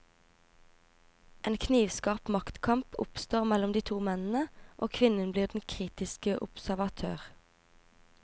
En knivskarp maktkamp oppstår mellom de to mennene, og kvinnen blir den kritiske observatør.